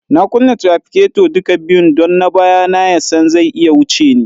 Na kunna tirafiketo duka biyun don na baya na ya san zai iya wuce ni.